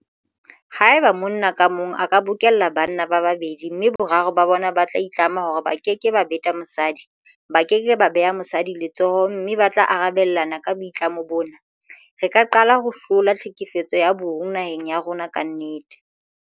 Haeba monna ka mong a ka bokella banna ba babedi mme boraro ba bona ba itlama hore ba keke ba beta mosadi, ba ke ke ba beha mosadi letsoho mme ba tla arabelana ka boitlamo bona, re ka qala ho hlola tlhekefetso ya bong naheng ya rona ka nnete.